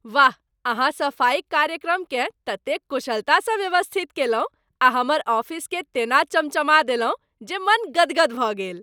वाह अहाँ सफाइक कार्यक्रमकेँ ततेक कुशलता सँ व्यवस्थित कयलहुँ आ हमर ऑफिसकेँ तेना चमचमा देलहुँ जे मन गदगद भऽ गेल।